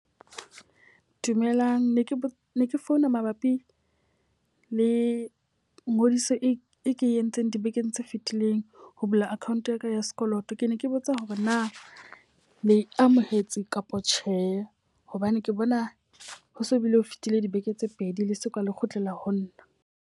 Dumelang, ne ke ne ke founa mabapi le ngodiso e ke entseng dibekeng tse fitileng. Ho bula account ya ka ya sekoloto. Ke ne ke botsa hore na le amohetse kapa tjhe? Hobane ke bona ho so bile o fetile dibeke tse pedi le so ka le kgutlela ho nna.